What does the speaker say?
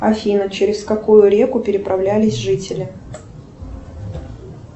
афина через какую реку переправлялись жители